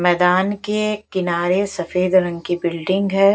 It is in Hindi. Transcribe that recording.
मैदान के किनारे सफेद रंग की बिल्डिंग है।